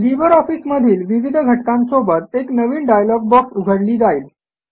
Libre office मधील विविध घटकांसोबत एक नवीन डायलॉग बॉक्स उघडली जाईल